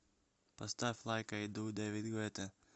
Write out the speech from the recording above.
поставь лайк ай ду дэвид гуэтта